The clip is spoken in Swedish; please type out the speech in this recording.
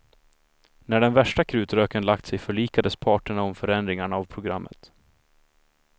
När den värsta krutröken lagt sig förlikades parterna om förändringarna av programmet.